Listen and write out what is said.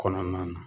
Kɔnɔna na